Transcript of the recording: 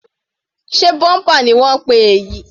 Sé bumper ni wọ́n ń pè èyí?